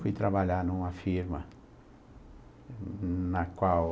Fui trabalhar numa firma na qual...